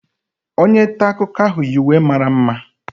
Onye nta akụkọ ahụ yi uwe mara mma